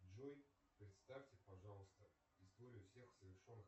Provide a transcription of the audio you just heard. джой представьте пожалуйста историю всех совершенных